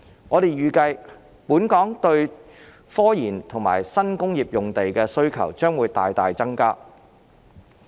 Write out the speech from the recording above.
我們預計，本港對科研和新工業用地的需求將會大大增加。